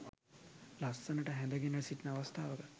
ලස්සනට හැඳ ගෙන සිටින අවස්ථාවක